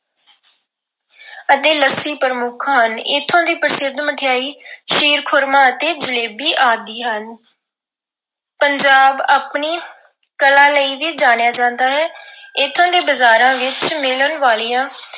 ਅਤੇ ਲੱਸੀ ਪ੍ਰਮੁੱਖ ਹਨ। ਇੱਥੋਂ ਦੀ ਪ੍ਰਸਿੱਧ ਮਠਿਆਈ ਖੀਰ-ਖੁਰਮਾ ਅਤੇ ਜਲੇਬੀ ਆਦਿ ਹਨ। ਪੰਜਾਬ ਆਪਣੀ ਕਲਾ ਲਈ ਵੀ ਜਾਣਿਆ ਜਾਂਦਾ ਹੈ। ਇਥੋਂ ਦੇ ਬਜ਼ਾਰਾਂ ਵਿੱਚ ਮਿਲਣ ਵਾਲੀਆਂ